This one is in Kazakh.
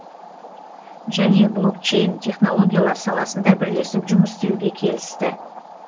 және блокчейн технологиялар саласында бірлесіп жұмыс істеуге келісті